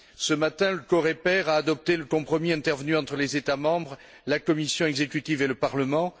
Ce matin, le COREPER a adopté le compromis intervenu entre les États membres, la Commission exécutive et le Parlement.